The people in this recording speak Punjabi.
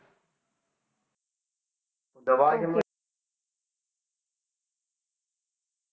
okay